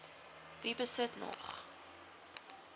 wie besit nog